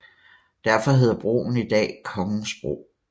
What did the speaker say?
Derfor hedder broen i dag Kongensbro